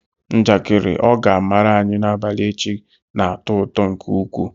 Njakịrị ọ ga amaara anyi n'abalị echi na-atọ ụtọ nke ukwuu.